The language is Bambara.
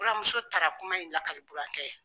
Buranmuso taara kuma in lakali burankɛ ye.